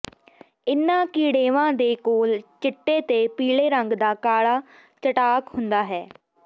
ਇਨ੍ਹਾਂ ਕੀੜੇਵਾਂ ਦੇ ਕੋਲ ਚਿੱਟੇ ਤੇ ਪੀਲੇ ਰੰਗ ਦਾ ਕਾਲਾ ਚਟਾਕ ਹੁੰਦਾ ਹੈ